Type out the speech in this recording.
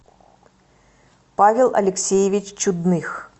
павел алексеевич чудных